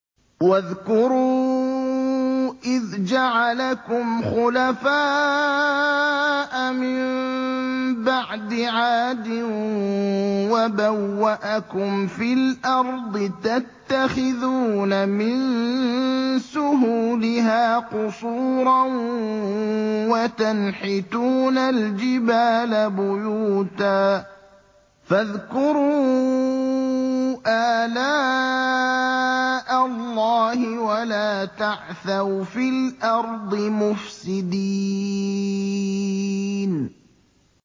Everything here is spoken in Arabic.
وَاذْكُرُوا إِذْ جَعَلَكُمْ خُلَفَاءَ مِن بَعْدِ عَادٍ وَبَوَّأَكُمْ فِي الْأَرْضِ تَتَّخِذُونَ مِن سُهُولِهَا قُصُورًا وَتَنْحِتُونَ الْجِبَالَ بُيُوتًا ۖ فَاذْكُرُوا آلَاءَ اللَّهِ وَلَا تَعْثَوْا فِي الْأَرْضِ مُفْسِدِينَ